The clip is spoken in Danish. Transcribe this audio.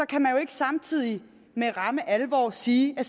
kan man ikke samtidig i ramme alvor sige at